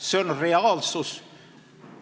See on reaalsus.